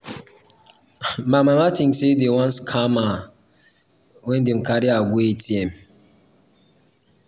my mama tink sey sey dem wan scam her wen dem carry her go atm.